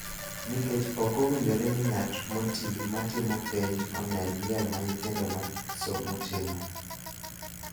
nikech ok owinjore ni ng�at moti ma timo penj onen miel ma nyithindo ma somo timo,